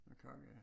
Kage ja